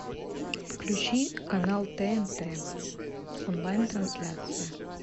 включи канал тнт онлайн трансляция